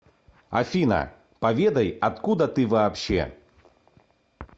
афина поведай откуда ты вообще